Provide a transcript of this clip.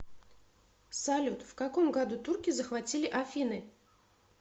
салют в каком году турки захватили афины